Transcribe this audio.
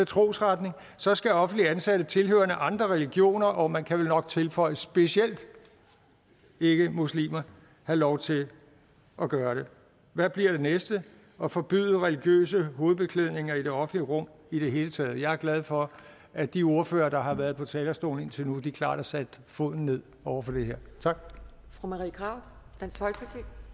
trosretning så skal offentligt ansatte tilhørende andre religioner og man kan vel nok tilføje specielt ikke muslimer have lov til at gøre det hvad bliver det næste at forbyde religiøse hovedbeklædninger i det offentlige rum i det hele taget jeg er glad for at de ordførere der har været på talerstolen indtil nu klart har sat foden ned over for det her tak